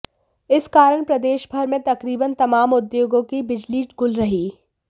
इस कारण प्रदेश भर में तकरीबन तमाम उद्योगों की बिजली गुल रही